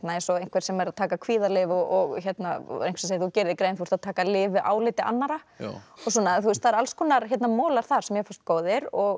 eins og einhver sem er að taka kvíðalyf og og einhver segir þú gerir þér grein þú ert að taka lyf við áliti annarra það eru alls konar molar þar sem mér fannst góðir og